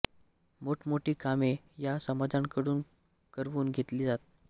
मोठ मोठी कामे या समाजाकडून करवून घेतली जात